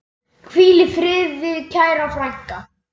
Hvíl í friði kæra frænka.